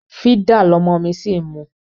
Fídà lọmọ mi ṣì ń mu.